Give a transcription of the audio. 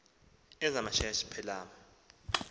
eza meshach pelem